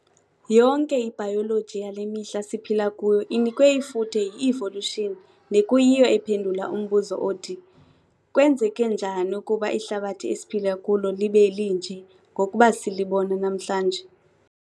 Yonke ibayoloji yale mihla siphila kuyo inikwe ifuthe yi-evolution nekuyiyo ephendula umbuzo othi- "Kwenzeke njani ukuba ihlabathi esiphila kulo libe linje ngokuba silibona namhlanje?"